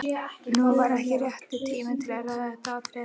Nú var ekki rétti tíminn til að ræða þetta atriði.